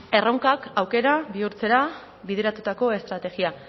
erronkak aukera bihurtzera bideratutako estrategia